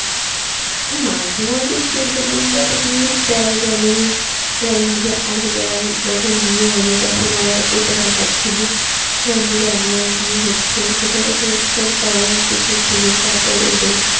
মাঝেমধ্যে একটু entertainment news দেয় যেমন ওই রাণবীর আলিয়ার যখন বিয়ে হল তখন আবার ওটা দেখাচ্ছিল রাণবীর আলিয়ার বিয়ে হচ্ছে সেটা যখন একটুখানি coverage দেখিয়েছিল তার পরে ওদের